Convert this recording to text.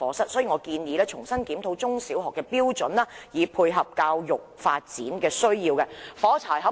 因此，我建議重新檢討中小學課室的標準，以配合教育發展的需要。